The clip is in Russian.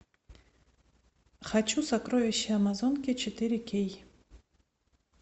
хочу сокровища амазонки четыре кей